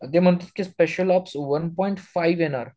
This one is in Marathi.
ते म्हणतात की special ops one point five येणार